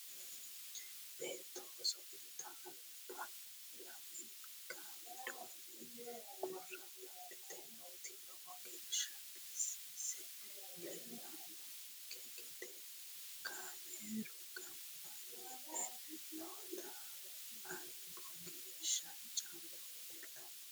beetto oso'litanni albaho lamenka widoonni qurra dadhite nooti lowo geeshsha bisise leellannokki gede kaamerunniwa ganba yite nootera albugeeshshi callu leellanno